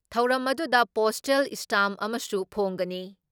ꯊꯧꯔꯝ ꯑꯗꯨꯗ postal stamp ꯑꯃꯁꯨ ꯐꯣꯡꯒꯅꯤ ꯫